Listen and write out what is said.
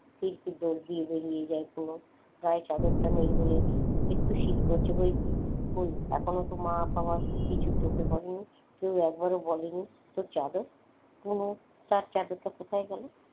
দিব্বি দর দিয়ে বেরিয়ে যায় কোন হ্যাঁ চাদরটা নেই বলে একটু শীত করছে বৈকি কই এখনো তো মা আমার কিছু চোখে পড়েনি কেউ একবারও বলেনি তোর চাদর কোন তার চাদরটা কোথায় গেল?